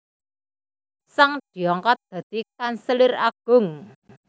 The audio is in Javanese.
Zhang diangkat dadi kanselir agung